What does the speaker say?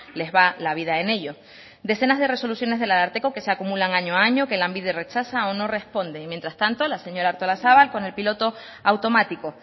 les va la vida en ello decenas de resoluciones del ararteko que se acumulan año a año que lanbide rechaza o no responde y mientras tanto la señora artolazabal con el piloto automático